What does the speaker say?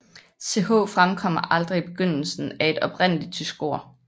Ch fremkommer aldrig i begyndelsen af et oprindeligt tysk ord